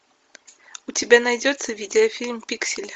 у тебя найдется видеофильм пиксели